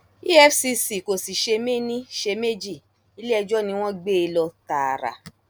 efcc kò sì ṣe méní ṣe méjì iléẹjọ ni wọn gbé e lọ tààrà